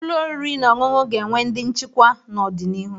Ụlọ oriri na ọṅụṅụ ga-enwe ndị nchikwa n'ọdịnihu.